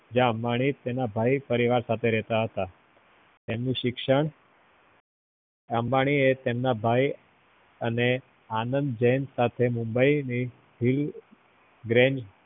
જ્એયાં અંબાની એના ભાઈ પરિવાર સાથે રેહતા હતા એમનું શિક્ષણ અંબાની એ એમના ભાઈ અને આનંદ જૈન સાથે mumbai ની the grand